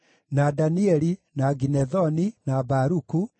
na Danieli, na Ginethoni, na Baruku,